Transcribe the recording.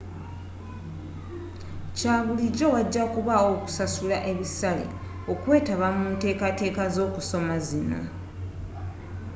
kyabulijjo wajakubawo okusasula ebisale okwetaba munteekateeka z'okusoma zino